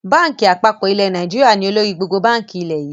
Báńkì àpapọ̀ ilẹ̀ Nàìjíríà ni olórí gbogbo báńkì ilẹ̀ yii